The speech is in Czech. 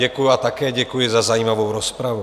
Děkuji a také děkuji za zajímavou rozpravu.